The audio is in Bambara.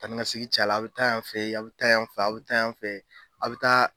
Taa ni ka segin cayala, aw bɛ taa yan fɛ a bɛ taa yan fɛ aw bɛ taa yan fɛ aw bɛ taa.